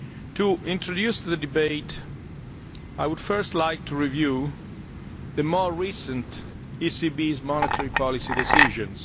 To introduce the debate, I would first like to review the more recent ECB monetary policy decisions.